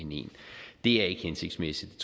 er ikke hensigtsmæssigt